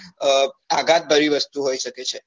અ આઘાત ભરી વસ્તુ હોઈ સકે છે